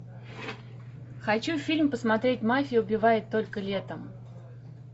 хочу фильм посмотреть мафия убивает только летом